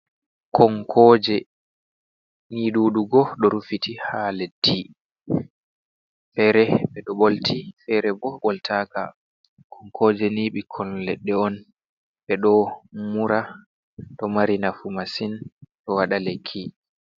Konkoje, ni ɗuɗugo ɗo rufiti ha leddi, fere ɓeɗo ɓolti fere bo ɓoltaka. konkojeni ɓikon leɗɗe on ɓeɗo mura ɗo mari nafu masin ɗo waɗa lekki.